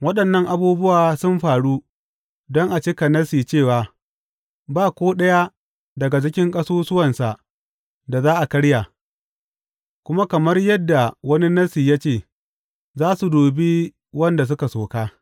Waɗannan abubuwa sun faru don a cika Nassi ne cewa, Ba ko ɗaya daga cikin ƙasusuwansa da za a karya, kuma kamar yadda wani Nassi ya ce, Za su dubi wanda suka soka.